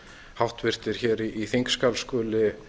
háttvirtir þingmenn í þingsal skuli